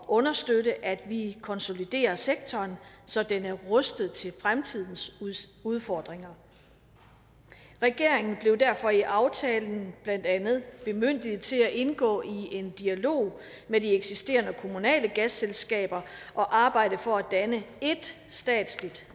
understøtte at vi konsoliderer sektoren så den er rustet til fremtidens udfordringer regeringen blev derfor i aftalen blandt andet bemyndiget til at indgå i en dialog med de eksisterende kommunale gasselskaber og arbejde for at danne ét statsligt